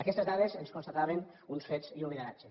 aquestes dades ens constataven uns fets i un lideratge